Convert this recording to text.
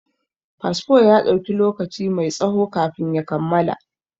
Fasfo ya ɗauki lokaci mai tsaho kafin ya kammala.